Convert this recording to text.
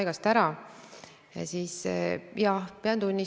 Millisena teie näete võimalusi, kuidas riik võiks selle sektori arengut toetada?